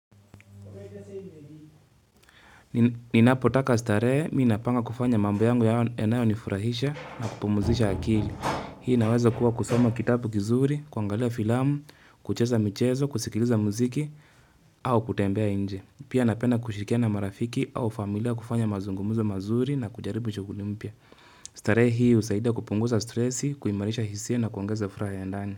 Ninaapotaka starehe, mii napanga kufanya mambo yangu yanayo nifurahisha na kupumuzisha akili. Hii inaweza kuwa kusoma kitabu kizuri, kuangalia filamu, kucheza michezo, kusikiliza muziki, au kutembea inje. Pia napenda kushirikia na marafiki au familia kufanya mazungumzo mazuri na kujaribu chukula mpya starehe hii usaidia kupunguza stresi, kuimarisha hisia na kuongeza furaha ya ndani.